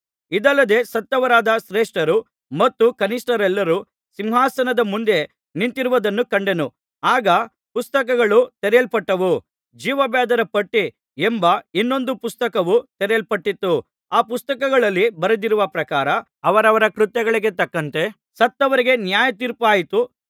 ಇದಲ್ಲದೆ ಸತ್ತವರಾದ ಶ್ರೇಷ್ಠರು ಮತ್ತು ಕನಿಷ್ಠರೆಲ್ಲರು ಸಿಂಹಾಸನದ ಮುಂದೆ ನಿಂತಿರುವುದನ್ನು ಕಂಡೆನು ಆಗ ಪುಸ್ತಕಗಳು ತೆರೆಯಲ್ಪಟ್ಟವು ಜೀವಬಾಧ್ಯರ ಪಟ್ಟಿ ಎಂಬ ಇನ್ನೊಂದು ಪುಸ್ತಕವು ತೆರೆಯಲ್ಪಟ್ಟಿತು ಆ ಪುಸ್ತಕಗಳಲ್ಲಿ ಬರೆದಿರುವ ಪ್ರಕಾರ ಅವರವರ ಕೃತ್ಯಗಳಿಗೆ ತಕ್ಕಂತೆ ಸತ್ತವರಿಗೆ ನ್ಯಾಯತೀರ್ಪಾಯಿತು